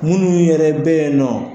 Minnu yɛrɛ bɛ yen nɔ